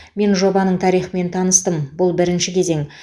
мен жобаның тарихымен таныстым бұл бірінші кезең